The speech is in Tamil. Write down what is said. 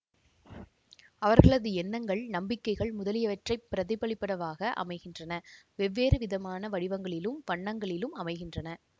அவர்களது எண்ணங்கள் நம்பிக்கைகள் முதலியவற்றைப் பிரதிபலிப்பனவாக அமைகின்றன வெவ்வேறு விதமான வடிவங்களிலும் வண்ணங்களிலும் அமைகின்றன